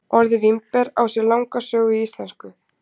Orðið vínber á sér langa sögu í íslensku.